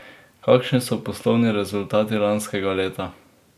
Kakšni so poslovni rezultati lanskega leta?